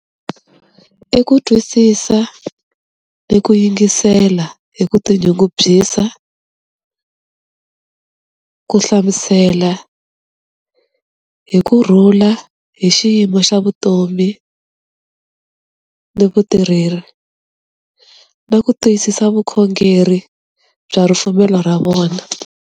I ku twisisa, i ku yingisela hi ku tinyungubyisa, ku hlamusela hi kurhula hi xiyimo xa vutomi, ni vutirheri, na ku twisisa vukhongeri bya ripfumelo ra vona.